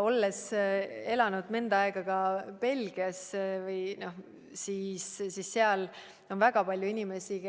Olles elanud mõnda aega Belgias, tean ma, et seal on väga palju inimesi,